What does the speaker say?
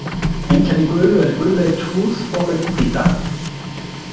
Einkenni gulu eru gulleit húð og augnhvíta.